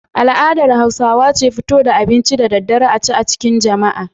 Al'adar Hausawa ce fito da abinci da daddare a ci a cikin jama'a.